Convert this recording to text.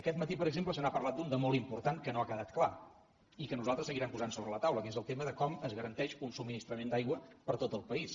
aquest matí per exemple se n’ha parlat d’un de molt important que no ha quedat clar i que nosaltres seguirem posant sobre la taula que és el tema de com es garanteix un subministrament d’aigua per a tot el país